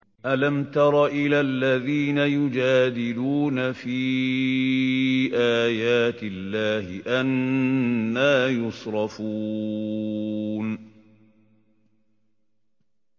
أَلَمْ تَرَ إِلَى الَّذِينَ يُجَادِلُونَ فِي آيَاتِ اللَّهِ أَنَّىٰ يُصْرَفُونَ